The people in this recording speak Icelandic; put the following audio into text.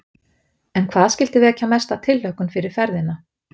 En hvað skyldi vekja mesta tilhlökkun fyrir ferðina?